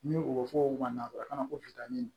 Ni o bɛ fɔ o ma ko